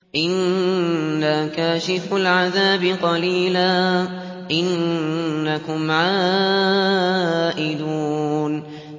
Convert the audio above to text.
إِنَّا كَاشِفُو الْعَذَابِ قَلِيلًا ۚ إِنَّكُمْ عَائِدُونَ